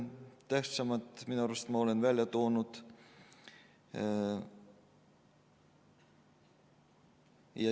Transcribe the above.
Tähtsamad olen ma enda arvates välja toonud.